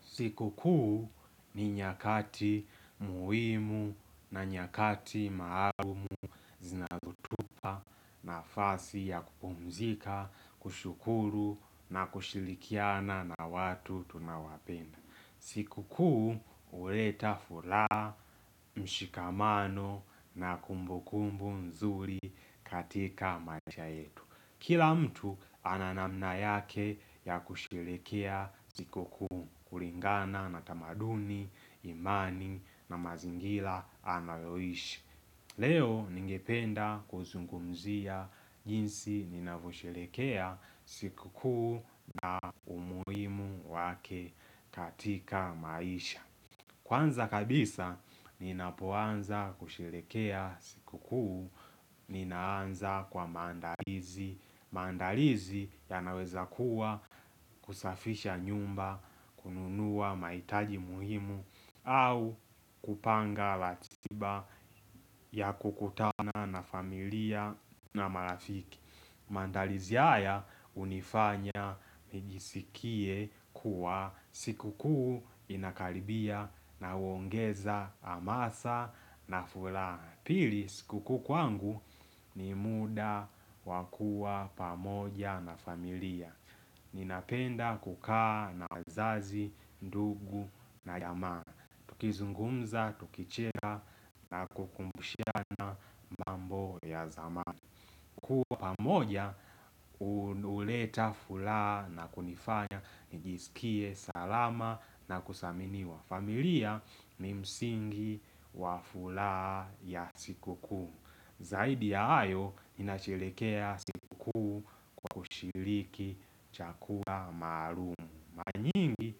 Siku kuu ni nyakati muhimu na nyakati maalumu zinazotupa nafasi ya kupumzika, kushukuru na kushirikiana na watu tunaowapenda. Siku kuu huleta furaha mshikamano na kumbu kumbu mzuri katika maisha yetu. Kila mtu ana namna yake ya kusherehekea siku kuu kulingana na tamaduni, imani na mazingira analoishi. Leo ningependa kuzungumzia jinsi ninavosherehekea siku kuu na umuhimu wake katika maisha. Kwanza kabisa, ninapoanza kusherehekea siku kuu, ninaanza kwa maandalizi, maandalizi yanaweza kuwa kusafisha nyumba, kununua mahitaji muhimu, au kupanga ratiba ya kukutana na familia na marafiki. Maandalizi haya hunifanya nijisikie kuwa siku kuu inakaribia na huongeza hamasa na furaha Pili siku kuu kwangu ni muda wa kuwa pamoja na familia Ninapenda kukaa na wazazi, ndugu na ya maana tukizungumza, tukicheka na kukumbusha na mambo ya dhamana kuwa pamoja, huleta furaha na kunifanya, njisikie, salama na kuthaminiwa. Familia ni msingi wa furaha ya siku kuu. Zaidi ya hayo, ninasherehekea siku kuu kwa kushiriki chakula marumu. Mara nyingi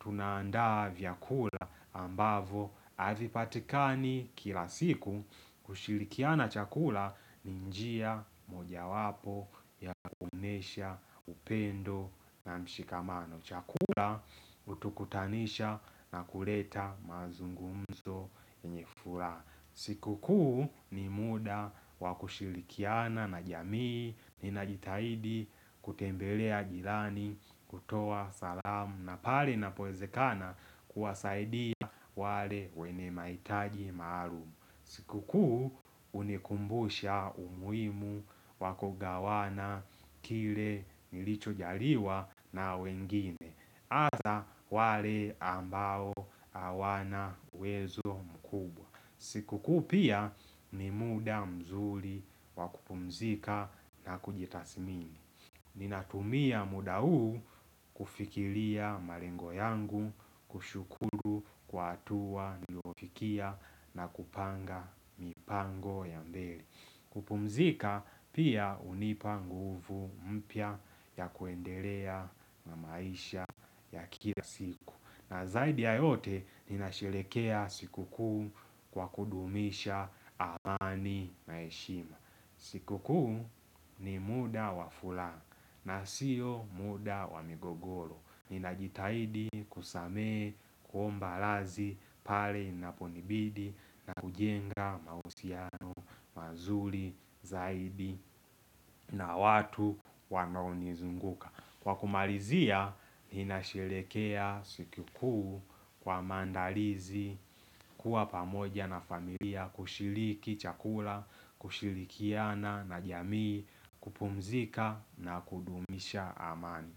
tunaandaa vyakula ambavyo haviipatikani kila siku kushirikiana chakula ni njia mojawapo ya kuonesha upendo na mshikamano. Chakula hutukutanisha na kuleta mazungumzo yenye furaha. Siku kuu ni muda wa kushirikiana na jamii, ninajitahidi kutembelea jirani, kutoa salamu na pale inapowezekana kuwasaidia wale wenye mahitaji maalumu. Siku kuu hunikumbusha umuhimu wako kugawana kile nilicho jaliwa na wengine. Hasa wale ambao hawana uwezo mkubwa. Siku kuu pia ni muda mzuri wa kupumzika na kujitathmini. Ninatumia muda huu kufikiria malengo yangu, kushukuru kwa hatua, niliofikia na kupanga mipango ya mbele kupumzika pia hunipa nguvu mpya ya kuendelea na maisha ya kila siku na zaidi ya yote ninasherehekea siku kuu kwa kuduisha amani na heshima siku kuu ni muda wa furaha na sio muda wa migogoro Ninajitahidi kusamehe, kuomba radhi, pale inaponibidi na kujenga mahusiano, mazuri, zaidi na watu wanaonizunguka Kwa kumalizia, ninasherehekea siku kuu kwa maandalizi, kuwa pamoja na familia, kushiriki chakula, kushirikiana na jamii, kupumzika na kudumisha amani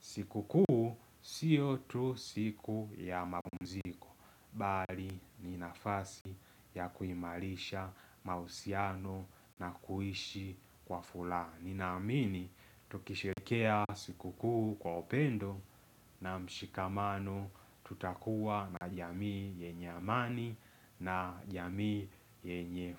siku kuu sio tu siku ya mapumziko, bali ni nafasi ya kuimarisha mahusiano na kuishi kwa furaha. Ninaamini, tukisherehekea siku kuu kwa upendo na mshikamano tutakuwa na jamii yenye amani na jamii yenye.